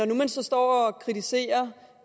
nu man så står og kritiserer